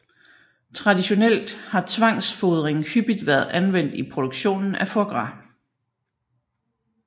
Traditionelt har tvangsfodring hyppigt været anvendt i produktionen af foie gras